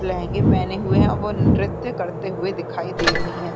लेहेंगे पहने हुए हैं और वो नृत्य करते हुए दिखाई दे रहे हैं।